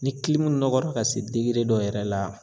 Ni nɔgɔra ka se dɔ yɛrɛ la